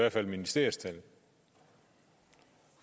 ifølge ministeriets tal